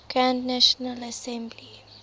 grand national assembly